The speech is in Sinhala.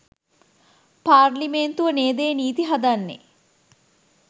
පාර්ලිමේන්තුව නේද ඒ නිති හදන්නේ